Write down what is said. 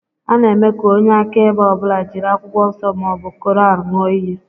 A na-eme ka onye akaebe ọ bụla jiri Akwụkwọ Nsọ ma ọ bụ Koran ṅụọ íyí